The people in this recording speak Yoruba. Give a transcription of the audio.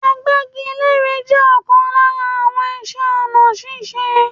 Agbẹ́gilére je ọkàn lára ìṣe ọ̀nà ṣíṣe.